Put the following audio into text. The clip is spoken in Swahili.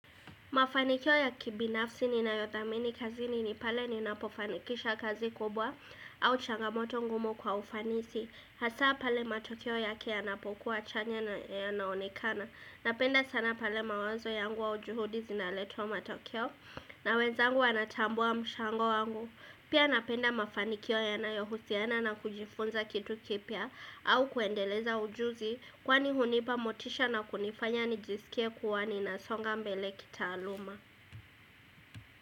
Mafanikio ya kibinafsi ni na yothamini kazi ni ni pale ni napofanikisha kazi kubwa au changamoto ngumu kwa ufanisi. Hasa pale matokeo yake ya napokuwa chanya na ya naonekana. Napenda sana pale mawazo yangu au juhudi zinaletwa matokeo na wenzangu wanatambua mshango wangu. Pia napenda mafanikio yanayohusiana na kujifunza kitu kipya au kuendeleza ujuzi kwani hunipa motisha na kunifanya nijisikie kuwa ni na songa mbele kita aluma.